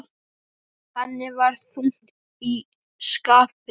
Henni var þungt í skapi.